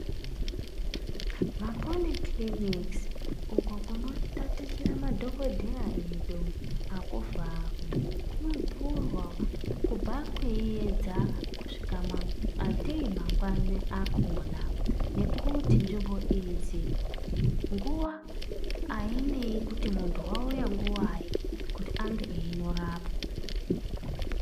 Mapoli kiriniki uko kunotatichira madhokodheya edu akuvharwi, kunovhutwa kubva kweiyedza kusvika ngatei mangwani akona nekuti nzvimbo idzi nguwa ainei kuti muntu wauya nguwayi kuti ange einorapwa.